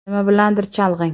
Nima bilandir chalg‘ing.